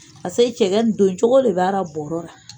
Pase cɛkɛ nin doncogo le b'a bɔɔrɔ ra.